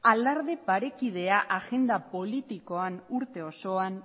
alarde parekidea agenda politikoan urte osoan